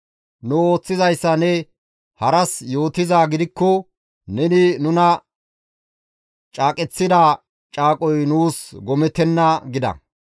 Nu ooththizayssa ne haras yootizaa gidikko neni nuna caaqeththida caaqoy nuus gomettenna» gida.